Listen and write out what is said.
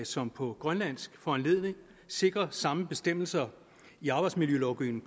som på grønlands foranledning sikrer samme bestemmelser i arbejdsmiljølovgivningen